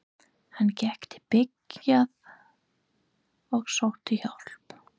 Hann gekk til byggða og sótti hjálp.